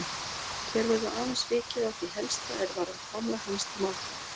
Hér verður aðeins vikið að því helsta er varðar framlag hans til málfræði.